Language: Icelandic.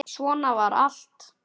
Svona var allt.